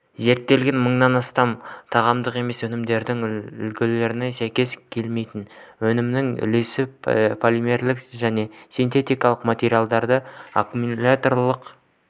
зерттелінген мыңнан астам тағамдық емес өнімдер үлгілерінің сәйкес келмейтін өнімнің үлесі полимерлік және синтетикалық материалдар аккумуляторлық